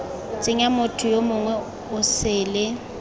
tsenya motho yo mongwe osele